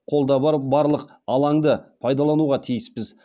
қолда бар барлық алаңды пайдалануға тиіспіз